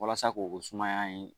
Walasa k'o o suma in